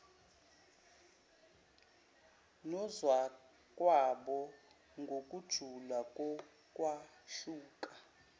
nozakwabo ngokujula kokwahluka